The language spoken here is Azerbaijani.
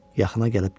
Yaxına gəlib dedi.